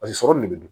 Paseke sɔrɔ de bɛ dun